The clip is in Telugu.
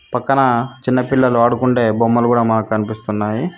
పక్కన చిన్న పిల్లలు ఆడుకుండే బొమ్మలు కూడా మాకు కనిపిస్తున్నాయి.